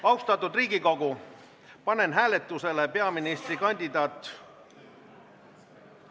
Austatud Riigikogu, panen hääletusele peaministrikandidaat ...